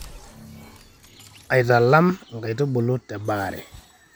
aitalam inkaitubulu te baare